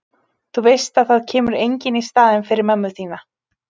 Þú veist að það kemur enginn í staðinn fyrir mömmu þína.